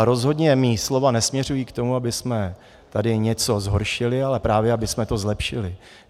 A rozhodně má slova nesměřují k tomu, abychom tady něco zhoršili, ale právě abychom to zlepšili.